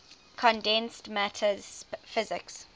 condensed matter physics